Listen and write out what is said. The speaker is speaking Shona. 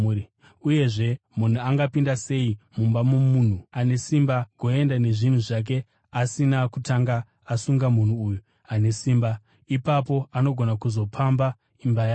“Uyezve, munhu angapinda sei mumba momunhu ane simba agoenda nezvinhu zvake asina kutanga asunga munhu uyu ane simba? Ipapo anogona kuzopamba imba yake.